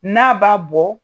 N'a b'a bɔ